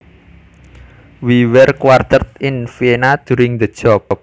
We were quartered in Vienna during the job